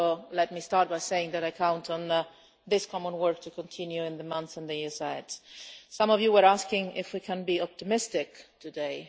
Let me start by saying that I count on this common work to continue in the months and the years ahead. Some of you were asking if we can be optimistic today.